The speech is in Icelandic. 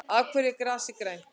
Af hverju er grasið grænt?